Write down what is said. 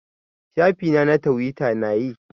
Shafi na na twita na yi.